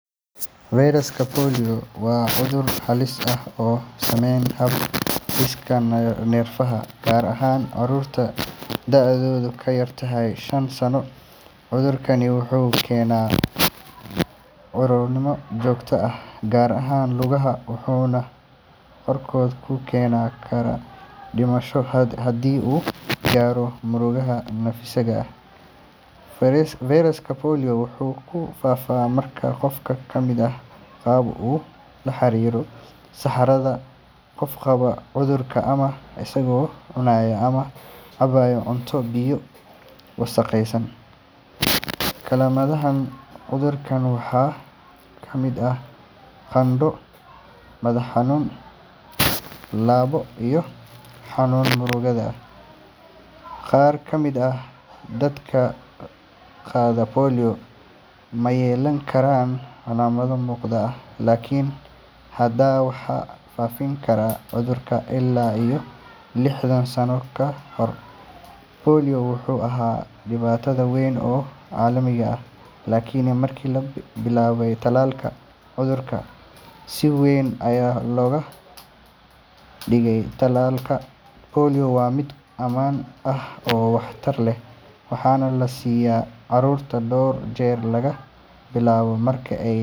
Fayraska polio waa cudur halis ah oo saameeya hab-dhiska neerfaha, gaar ahaan carruurta da’doodu ka yar tahay shan sano. Cudurkaan wuxuu keeni karaa curyaannimo joogto ah, gaar ahaan lugaha, wuxuuna qaarkood ku keeni karaa dhimasho haddii uu gaaro murqaha neefsiga. Fayraska polio wuxuu ku faafaa marka qof caafimaad qaba uu la xiriiro saxarada qof qaba cudurka, ama isagoo cunaya ama cabaya cunto iyo biyo wasakhaysan. Calaamadaha cudurkaan waxaa ka mid ah qandho, madax xanuun, lalabbo, iyo xanuun muruqyada ah. Qaar ka mid ah dadka qaada polio ma yeelan karaan calaamado muuqda, laakiin haddana waxay faafin karaan cudurka. Ilaa iyo lixdan sano ka hor, polio wuxuu ahaa dhibaato weyn oo caalami ah, laakiin markii la bilaabay tallaalka, cudurka si weyn ayaa hoos loogu dhigay. Tallaalka polio waa mid ammaan ah oo waxtar leh, waxaana la siiyaa carruurta dhowr jeer laga bilaabo marka ay.